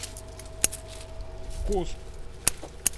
вкус